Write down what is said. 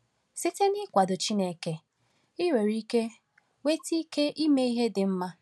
Site n’ịkwado Chineke, i nwere ike nweta ike ime ihe dị mma.